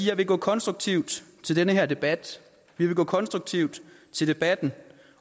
jeg vil gå konstruktivt til den her debat vi vil gå konstruktivt til debatten